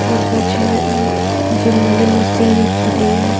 और पीछे जिम वाली मशीन दिख रही है।